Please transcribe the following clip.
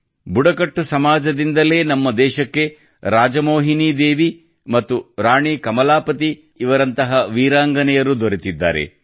ಬುಡಕಟ್ಟು ಸಮಾಜದಿಂದಲೇ ನಮ್ಮ ದೇಶಕ್ಕೆ ರಾಜಮೋಹಿನೀ ದೇವಿ ಮತ್ತು ರಾಣಿ ಕಲಮಾಪತಿಯಂತಹ ವೀರಾಂಗನೆಯರು ದೊರೆತಿದ್ದಾರೆ